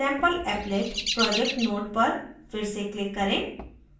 sampleapplet project node पर फिर से click करें